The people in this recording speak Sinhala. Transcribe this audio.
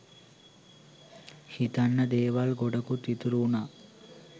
හිතන්න දේවල් ගොඩකුත් ඉතුරු වුනා